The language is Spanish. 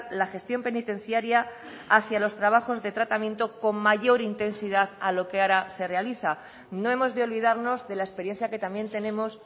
la gestión penitenciaria hacia los trabajos de tratamiento con mayor intensidad a lo que ahora se realiza no hemos de olvidarnos de la experiencia que también tenemos